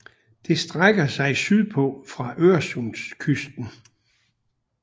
Det strækker sig sydpå fra Øresundskysten